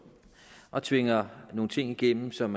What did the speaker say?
og tvinger nogle ting igennem som